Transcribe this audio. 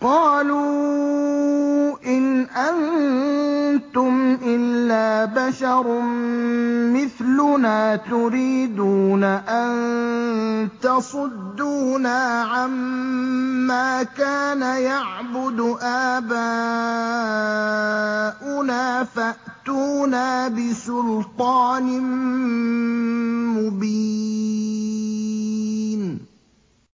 قَالُوا إِنْ أَنتُمْ إِلَّا بَشَرٌ مِّثْلُنَا تُرِيدُونَ أَن تَصُدُّونَا عَمَّا كَانَ يَعْبُدُ آبَاؤُنَا فَأْتُونَا بِسُلْطَانٍ مُّبِينٍ